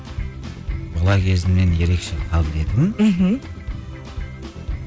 бала кезімнен ерекше қабілетім мхм